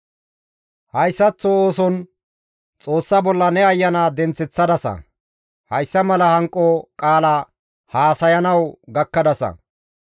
Hayssaththo ooson Xoossa bolla ne ayana denththeththadasa. Hayssa mala hanqo qaala haasayanawu gakkadasa.